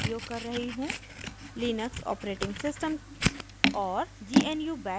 * Linux operating system और